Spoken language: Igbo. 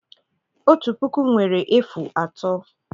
Otu puku nwere efu atọ.